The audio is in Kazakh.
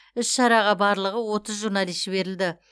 іс шараға барлығы отыз журналист жіберілді